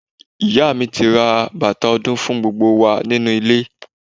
Ìyá mi ti ra bàtà ọdún fún gbogbo wa nínú ilé.